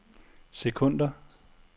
sekunder